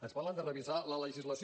ens parlen de revisar la legislació